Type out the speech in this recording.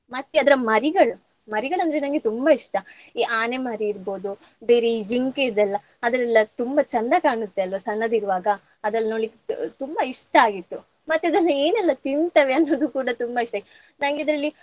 ಮತ್ತೆ ಅದರ ಮರಿಗಳು ಮರಿಗಳಂದ್ರೆ ನಂಗೆ ತುಂಬ ಇಷ್ಟ. ಈ ಆನೆ ಮರಿ ಇರ್ಬಹುದು ಬೇರೆ ಜಿಂಕೆದೆಲ್ಲಾ ಅದೆಲ್ಲ ತುಂಬ ಚಂದ ಕಾಣುತ್ತೆ ಅಲ್ವಾ ಸಣ್ಣದಿರುವಾಗ ಅದೆಲ್ಲ ನೋಡ್ಲಿಕ್ಕೆ ತುಂಬ ಇಷ್ಟ ಆಗಿತ್ತು. ಮತ್ತ್ ಅದೆಲ್ಲ ಏನೆಲ್ಲ ತಿಂತಾವೇ ಅನ್ನೋದು ಕೂಡಾ ತುಂಬಾ ಇಷ್ಟ ನಂಗೆ ಇದ್ರಲ್ಲಿ.